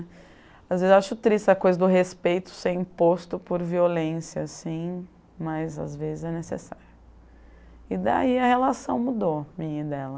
Às vezes eu acho triste essa coisa do respeito ser imposto por violência, assim Mas às vezes é necessário. E daí a relação mudou, minha e dela